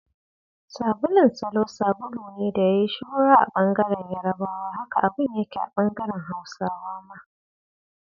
Sabulun Salo sabulu ne da ya yi shuhura a bangaren yarabawa, haka abin yake a bangaren Hausawa ma.